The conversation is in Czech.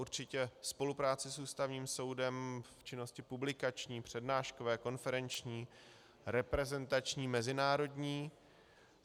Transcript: Určitě spolupráci s Ústavním soudem v činnosti publikační, přednáškové, konferenční, reprezentační, mezinárodní.